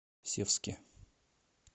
севске